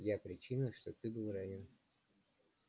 я причина что ты был ранен